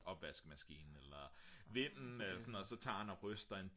opvaskemaskine eller vinden så tager han så og ryster en